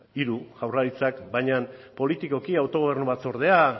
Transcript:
hiru jaurlaritzak baina politikoki autogobernu batzordea